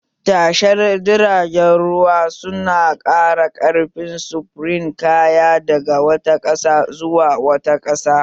Tashar jiragen ruwa su na ƙara ƙarfin sufurin kaya daga wata ƙasa zuwa wata ƙasa